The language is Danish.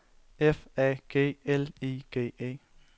F A G L I G E